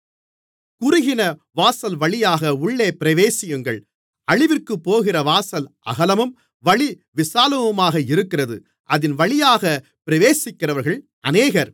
குறுகின வாசல்வழியாக உள்ளே பிரவேசியுங்கள் அழிவிற்குப்போகிற வாசல் அகலமும் வழி விசாலமுமாக இருக்கிறது அதின்வழியாக பிரவேசிக்கிறவர்கள் அநேகர்